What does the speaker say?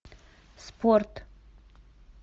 спорт